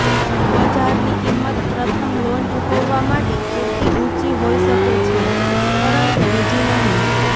બજારની કિંમત પ્રથમ લોન ચૂકવવા માટે પૂરતી ઊંચી હોઇ શકે છે પરંતુ બીજી નહીં